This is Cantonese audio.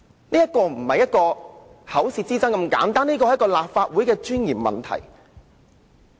這個問題並非單純口舌之爭，而是關乎立法會尊嚴的問題。